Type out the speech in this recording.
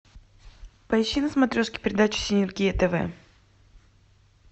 поищи на смотрешке передачу синергия тв